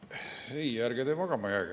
Ei, ärge te magama jääge.